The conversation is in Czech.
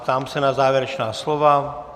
Ptám se na závěrečná slova.